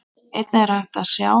Einnig er hægt að sjá.